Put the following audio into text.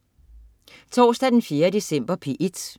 Torsdag den 4. december - P1: